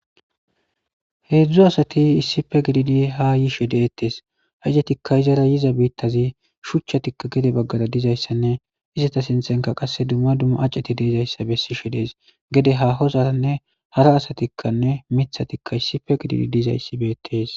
heedzdzu asati issife gididi ha yishe deettees haizetikka izara yiza biittazi shuchchatikka gede baggada dizayssanne izata sinthenka qasse dumma dumma aceti deezayssa bessishe dees gede ha hozaranne hara asatikkanne mithatikka issife gididi dizayssi beetees